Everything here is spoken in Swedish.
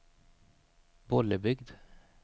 Bollebygd